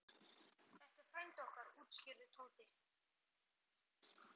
Þetta er frændi okkar útskýrði Tóti.